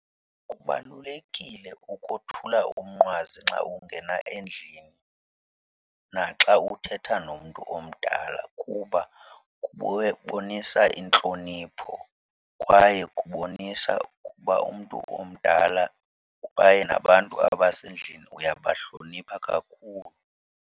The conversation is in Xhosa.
Kubalulekile ukothula umnqwazi xa ungena endlini naxa uthetha nomntu omdala kuba kubonisa intlonipho kwaye kubonisa ukuba umntu omdala kwaye nabantu abasendlini uyabahlonipha kakhulu.